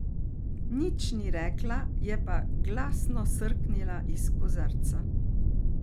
Nič ni rekla, je pa glasno srknila iz kozarca.